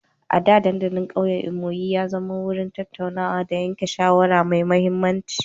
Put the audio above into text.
A da, dandalin ƙauyen Imo ya zama wurin tattaunawa da yanke shawara mai mahimmanci.